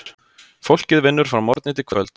Fólkið vinnur frá morgni til kvölds.